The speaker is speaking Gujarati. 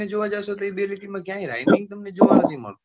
તમે જોવા જાસો તો એ બે લીટી માં તમને rhyming તમને જોવા નથી મળતો.